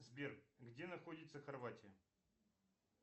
сбер где находится хорватия